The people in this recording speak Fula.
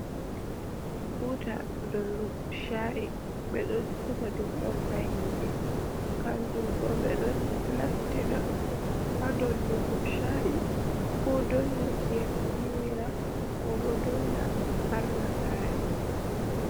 Buuta dollugo chaa'i. Ɓe ɗo juɗa ɗum on haa hite, kanjum ɗo ɓe ɗo naftira haa dollugo cha’i, ko dolla ndiyam ɓe yiwira, ko bo dolla harna gaari.